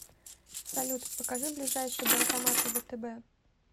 салют покажи ближайшие банкоматы втб